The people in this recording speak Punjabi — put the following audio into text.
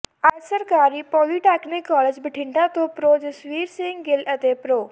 ਅੱਜ ਸਰਕਾਰੀ ਪੌਲੀਟੈਕਨਿਕ ਕਾਲਜ ਬਠਿੰਡਾ ਤੋਂ ਪ੍ਰਰੋ ਜਸਵੀਰ ਸਿੰਘ ਗਿੱਲ ਅਤੇ ਪ੍ਰਰੋ